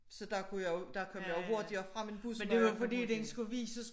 Så der kunne jeg jo der kom jeg jo hurtigere frem end bussen når jeg kunne bruge den